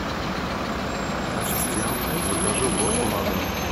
ассистент закажи уборку на дом